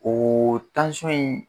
O in